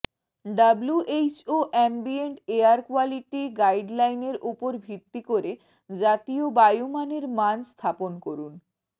WHO ambient air quality গাইডলাইনের উপর ভিত্তি করে জাতীয় বায়ু মানের মান স্থাপন করুন